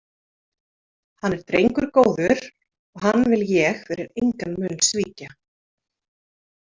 Hann er drengur góður og hann vil ég fyrir engan mun svíkja.